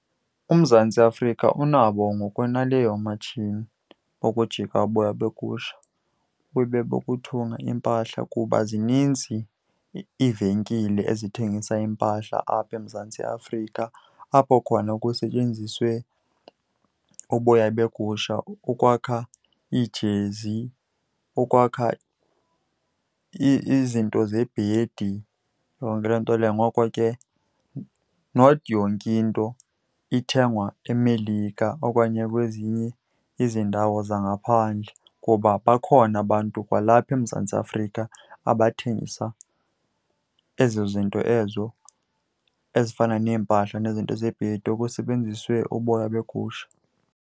UMzantsi Afrika unabo ngokwaneleyo oomatshini bokujika uboya begusha bube bokuthunga iimpahla kuba zininzi iivenkile ezithengisa iimpahla apha eMzantsi Afrika, apho khona kusetyenziswe uboya begusha ukwakha iijezi, ukwakha izinto zebhedi, yonke loo nto leyo. Ngoko ke not yonke into ithengwa eMelika okanye kwezinye izindawo zangaphandle kuba bakhona abantu kwalapha eMzantsi Afrika abathengisa ezo zinto ezo ezifana neempahla nezinto zebhedi okusebenziswe uboya begusha.